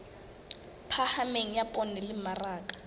phahameng ya poone le mmaraka